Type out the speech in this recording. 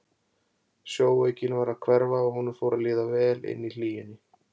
Sjóveikin var að hverfa og honum fór að líða vel inni í hlýjunni.